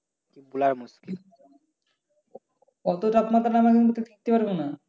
অত তাপমাত্রার মধ্যে তো আমরা টিকতে পারবো না।